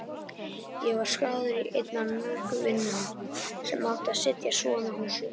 Ég var skráður í einn af mörgum vinnuhópum sem átti að setja svona hús upp.